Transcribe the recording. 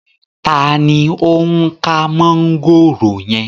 Taàní ó ń ká mọ̀ngòrò yẹn?